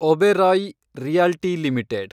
Oberoi realty limited